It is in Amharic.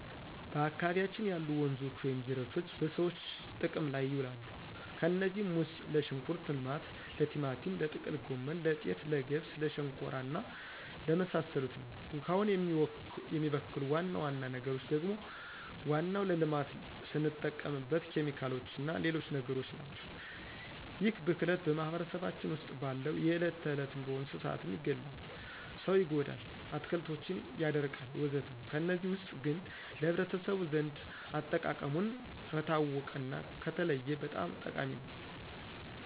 በአካባቢያችን ያሉ ወንዞች ወይም ጅረቶች በሰዎች ጥቅም ላይ ይውላሉ። ከነዚህም ውስጥ ለሽንኩርት ልማት፣ ለቲማቲም፣ ለጥቅል ጎመን፣ ለጤፍ፣ ለገብስ ለሸንኮራ እና ለመሳሰሉት ነው። ውሃውን የሚበክሉ ዋና ዋና ነገሮች ደግሞ ዋናው ለልማት ስንጠቀምበት ኬሚካሎችና ሌሎች ነገሮችናቸው። ይህ ብክለት በማህበረሰባችን ውስጥ ባለው የዕለት ተዕለት ኑሮ እንስሳትን ይገላል፣ ሰው ይጎዳል፣ አትክልቶችን ያደርቃልወዘተ ከነዚህ ውስጥ ግን ለህብረተሰቡ ዘንድ አጠቃቀሙን ከታወቀና ከተለየ በጣም ጠቃሚ ነው።